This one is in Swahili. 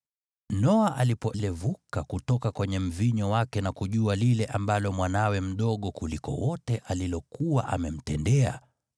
Noa alipolevuka kutoka kwenye mvinyo wake na kujua lile ambalo mwanawe mdogo kuliko wote alilokuwa amemtendea,